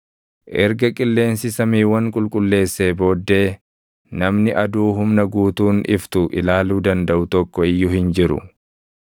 Erga qilleensi samiiwwan qulqulleessee booddee, namni aduu humna guutuun iftu ilaaluu dandaʼu tokko iyyuu hin jiru.